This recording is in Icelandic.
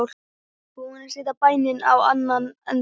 Búin að setja bæinn á annan endann.